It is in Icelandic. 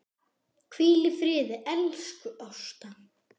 Hvíl í friði, elsku Ásta.